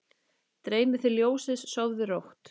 Dreymi þig ljósið, sofðu rótt